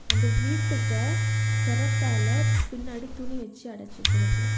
அந்த வீட்டுக்கு பிரத்தால பின்னாடி துணி வச்சு அடைச்சு வச்சிருக்கு.